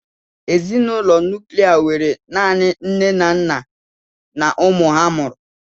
Ezinụlọ nuklia nwere naanị nne na nna na ụmụ ha mụrụ.